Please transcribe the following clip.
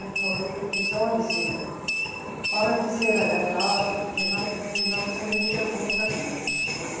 Foi eu disse, olhe, senhora, para dizer a verdade, eu não, eu não sei muita coisa, não, né